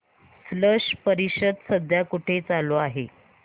स्लश परिषद सध्या कुठे चालू आहे